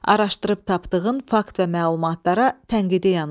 Araşdırıb tapdığın fakt və məlumatlara tənqidi yanaş.